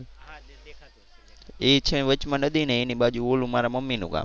એ છે વચમાં નદી ને એની બાજુ ઓલું મારા મમ્મી નું ગામ.